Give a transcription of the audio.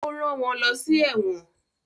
ó rán wọ́n lọsí “ ẹ̀wọ̀n”.